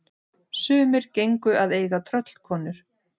Sumir gengu að eiga tröllkonur.